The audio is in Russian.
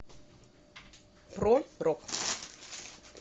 про рок